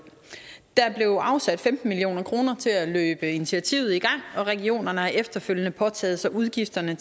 der blev afsat femten million kroner til at løbe initiativet i gang og regionerne har efterfølgende påtaget sig udgifterne